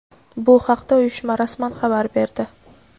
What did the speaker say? Bu haqda uyushma rasman xabar berdi.